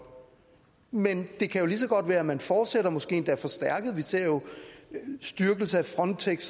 men det kan jo lige så godt være at man fortsætter måske endda forstærket vi ser jo styrkelse af frontex